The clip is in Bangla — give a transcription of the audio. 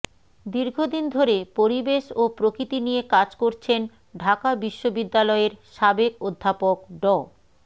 দীর্ঘদিন ধরে পরিবেশ ও প্রকৃতি নিয়ে কাজ করছেন ঢাকা বিশ্ববিদ্যালয়ের সাবেক অধ্যাপক ড